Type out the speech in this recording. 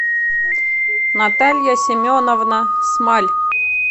наталья семеновна смаль